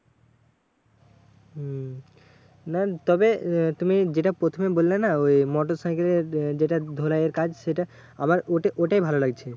হম না তবে আহ তুমি যেটা প্রথমে বললে না? ওই মোটরসাইকেলের যেটা ধোলাইয়ের কাজ সেটা আমার ওটা ওটাই ভালো লাগছে।